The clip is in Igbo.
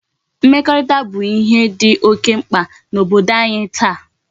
Mmekorita bu ihe di oke mkpa na Obodo anyi taa